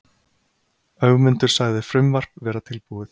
Ögmundur sagði frumvarp vera tilbúið.